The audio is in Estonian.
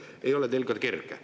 Ei ole teil ka kerge.